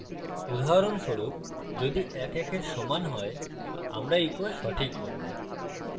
উদাহরণস্বরূপ যদি ১ ১for সমান হয় আমরা echo সঠিক বলবো